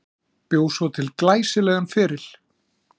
Bjó svo til glæsilegan feril.